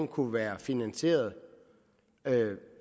kunne være finansieret